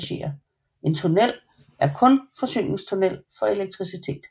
En tunnel er kun forsyningstunnel for elektricitet